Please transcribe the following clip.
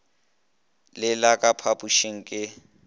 le le ka phapošing ke